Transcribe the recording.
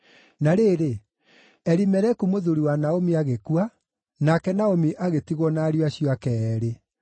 Na rĩrĩ, Elimeleku mũthuuri wa Naomi agĩkua, nake Naomi agĩtigwo na ariũ acio ake eerĩ.